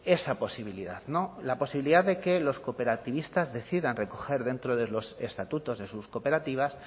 esa posibilidad no la posibilidad de que los cooperativistas decidan recoger dentro de los estatutos de sus cooperativas